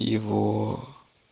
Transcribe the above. его